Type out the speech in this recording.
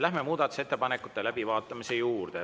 Läheme muudatusettepanekute läbivaatamise juurde.